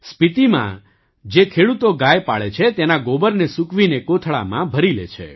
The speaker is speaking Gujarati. સ્પીતીમાં જે ખેડૂતો ગાય પાળે છે તેના ગોબરને સૂકવીને કોથળામાં ભરીલે છે